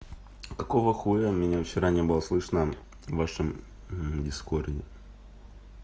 какого хуя меня вчера не было слышно в вашим дискорде